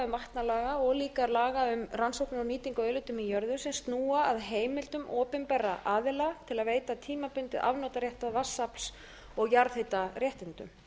vatnalaga og líka laga um rannsóknir og nýtingu á auðlindum í jörðu sem snúa að heimildum opinberra aðila til að veita tímabundinn afnotarétt að vatnsafls og jarðhitaréttindum